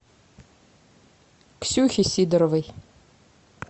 ксюхи сидоровой